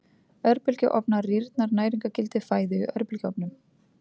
Örbylgjuofnar Rýrnar næringargildi fæðu í örbylgjuofnum?